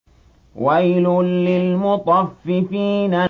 وَيْلٌ لِّلْمُطَفِّفِينَ